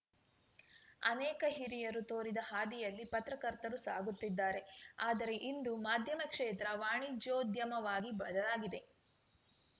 ಅನೇಕ ಹಿರಿಯರು ತೋರಿದ ಹಾದಿಯಲ್ಲಿ ಪತ್ರಕರ್ತರು ಸಾಗುತ್ತಿದ್ದಾರೆ ಆದರೆ ಇಂದು ಮಾಧ್ಯಮ ಕ್ಷೇತ್ರ ವಾಣಿಜ್ಯೋದ್ಯಮವಾಗಿ ಬದಲಾಗಿದೆ